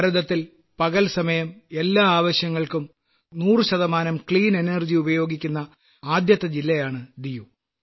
ഭാരതത്തിൽ പകൽസമയം എല്ലാ ആവശ്യങ്ങൾക്കും 100 ശുദ്ധ ഊർജ്ജം ഉപയോഗിക്കുന്ന ആദ്യത്തെ ജില്ലയാണ് ദിയു